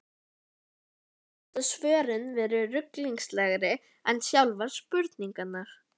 Og eins geta svörin verið ruglingslegri en sjálfar spurningarnar.